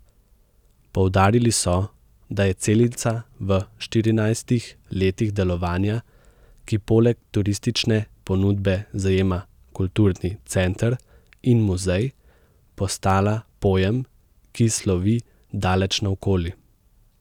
Poudarili so, da je Celica v štirinajstih letih delovanja, ki poleg turistične ponudbe zajema kulturni center in muzej, postala pojem, ki slovi daleč naokoli.